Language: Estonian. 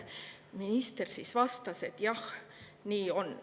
Minister vastas, et jah, nii on.